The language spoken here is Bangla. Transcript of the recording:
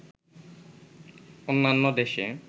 অন্যান্য দেশে